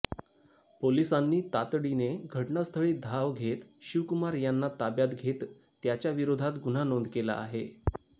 पोलिसांनी तातडीने घटनास्थळी धाव घेत शिवकुमार यांना ताब्यात घेत त्याच्या विरोधात गुन्हा नोंद केला आहे